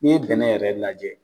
N'i ye bɛnɛ yɛrɛ lajɛ